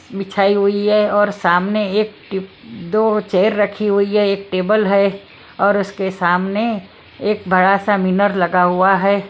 बिछाई हुई हैऔर सामने एक टिप दो चेयर रखी हुई है एक टेबल है और उसके सामने एक बड़ा सा मिनर लगा हुआ है।